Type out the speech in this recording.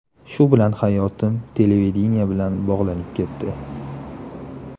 Shu bilan hayotim televideniye bilan bog‘lanib ketdi.